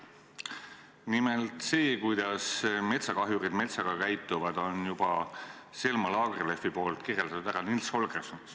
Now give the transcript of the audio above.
Nimelt: seda, kuidas metsakahjurid metsaga käituvad, on kirjeldanud juba Selma Lagerlöf "Nils Holgerssonis".